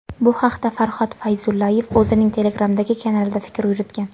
Bu haqda Farhod Fayzullayev o‘zining Telegram’dagi kanalida fikr yuritgan .